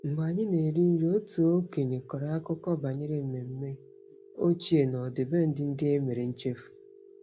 Mgbe anyị na-eri nri, otu okenye kọrọ akụkọ banyere mmemme ochie na ọdịbendị ndị e mere nchefu.